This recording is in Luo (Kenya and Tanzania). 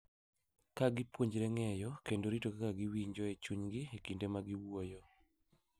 Ka gipuonjore ng’eyo kendo rito kaka giwinjo e chunygi e kinde ma giwuoyo.